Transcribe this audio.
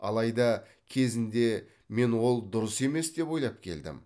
алайда кезінде мен ол дұрыс емес деп ойлап келдім